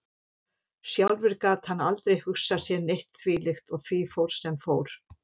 Sjálfur gat hann aldrei hugsað sér neitt þvílíkt og því fór sem fór.